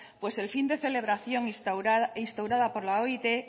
pues el fin de celebración instaurada por la oit